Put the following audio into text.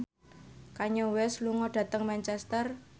Kanye West lunga dhateng Manchester